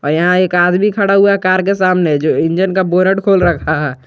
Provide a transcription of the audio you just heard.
और यहां एक आदमी खड़ा हुआ है कार के सामने जो इंजन का बोनट खोल रखा है।